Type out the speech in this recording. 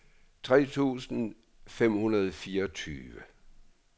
tre tusind fem hundrede og fireogtyve